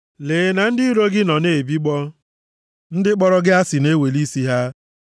Lee na ndị iro gị nọ na-ebigbọ, ndị kpọrọ gị asị na-eweli isi ha.